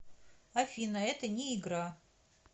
афина это не игра